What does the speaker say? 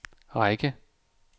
række